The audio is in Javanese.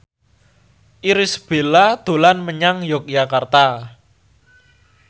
Irish Bella dolan menyang Yogyakarta